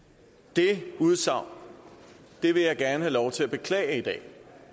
det udsagn vil jeg gerne have lov til at beklage i dag